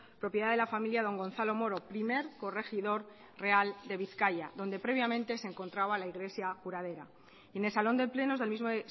propiedad de la familia don gonzalo moro primer corregidor real de bizkaia donde previamente se encontraba la iglesia curadera en el salón de plenos del mismo